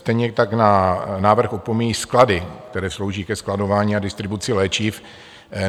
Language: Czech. Stejně tak návrh opomíjí sklady, které slouží ke skladování a distribuci léčiv.